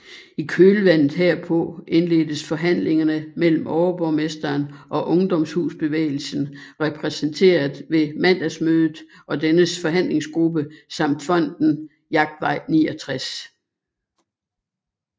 I kølvandet herpå indledtes forhandlinger mellem overborgmesteren og Ungdomshusbevægelsen repræsentereret ved mandagsmødet og dennes forhandlingsgruppe samt Fonden Jagtvej 69